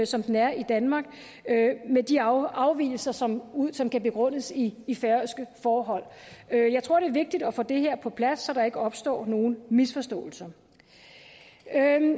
som den er i danmark med de afvigelser som som kan begrundes i i færøske forhold jeg tror det er vigtigt at få det her på plads så der ikke opstår nogen misforståelser